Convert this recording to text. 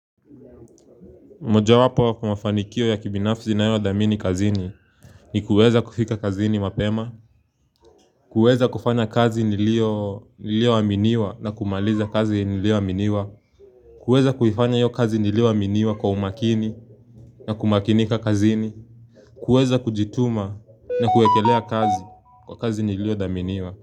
Mojawapo ya mafanikio ya kibinafsi ninayothamini kazini ni kuweza kufika kazini mapema kuweza kufanya kazi nilioaminiwa na kumaliza kazi nilioaminiwa kuweza kuifanya iyo kazi nilioaminiwa kwa umakini na kumakinika kazini kuweza kujituma na kuekelea kazi kwa kazi nilio daminiwa.